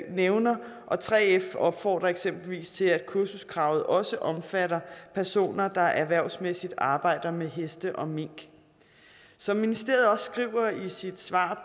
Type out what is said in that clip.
nævner og 3f opfordrer eksempelvis til at kursuskravet også omfatter personer der erhvervsmæssigt arbejder med heste og mink som ministeriet også skriver i sit svar